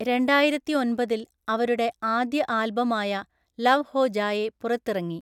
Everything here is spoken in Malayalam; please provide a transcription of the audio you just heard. രണ്ടായിരത്തിഒന്‍പതില്‍, അവരുടെ ആദ്യ ആൽബമായ ലവ് ഹോ ജായേ പുറത്തിറങ്ങി.